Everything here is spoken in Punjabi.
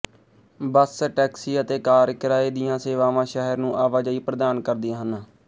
ਬੱਸ ਟੈਕਸੀ ਅਤੇ ਕਾਰ ਕਿਰਾਏ ਦੀਆਂ ਸੇਵਾਵਾਂ ਸ਼ਹਿਰ ਨੂੰ ਆਵਾਜਾਈ ਪ੍ਰਦਾਨ ਕਰਦੀਆਂ ਹਨ